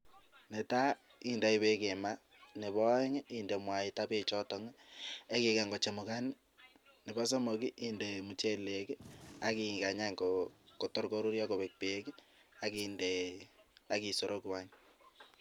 Netai indoi bek mat, nebo aeng inde mwaita bechon, vak igany kochemukan, nebo somok inde mchelek bek ak igany kochemukan bo koruryo kobek bek AK isuruku any.